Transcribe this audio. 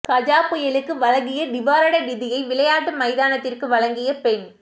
கஜா புயலுக்கு வழங்கிய நிவாரண நிதியை விளையாட்டு மைதானத்திற்கு வழங்கிய பெண்